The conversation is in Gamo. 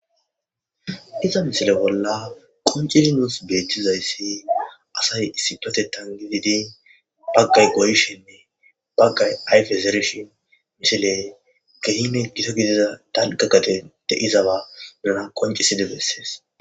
iza misile bolla qoncisi nuus beettizayssi asay issipatetan gididin baggay goyshenne baggay ayf ezerishin misiley gehime gito gidida tanqakate de izaba birana qonciside bessees